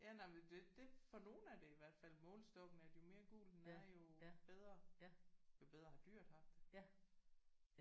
Ja nej men det det for nogen er det i hvert fald målestokken at jo mere gul den er jo bedre jo bedre har dyret haft det